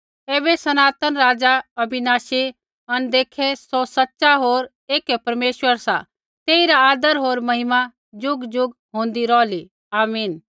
ऐबै सनातन राज़ा अविनाशी अनदेखै सौ सच़ा होर ऐकै परमेश्वर सा तेइरा आदर होर महिमा ज़ुगज़ुग होंदै रौहली आमीन